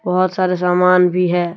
बहुत सारा सामान भी है।